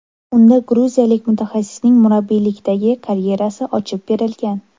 Unda gruziyalik mutaxassisning murabbiylikdagi karyerasi ochib berilgan.